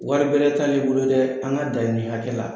Wari bɛrɛ t'ale bolo dɛ an ka da nin hakɛ la.